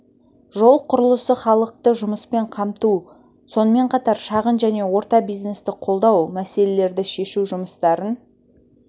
жол құрылысы халықты жұмыспен қамту сонымен қатар шағын және орта бизнесті қолдау мәселелерді шешу жұмыстарын